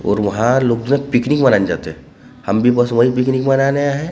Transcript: और वह लोग जो पिकनिक मनाने जाते हैं हम भी बस वही पिकनिक मनाने आये हैं हमने अपनी कार ।